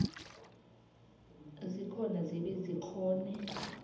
zikhona zibe zikghone